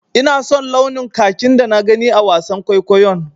Ina son launin kakin da na gani a wasan kwaikwayon.